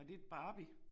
Var det et Barbie?